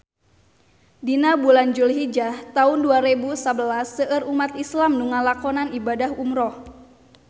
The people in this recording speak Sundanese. Dina bulan Dulhijah taun dua rebu sabelas seueur umat islam nu ngalakonan ibadah umrah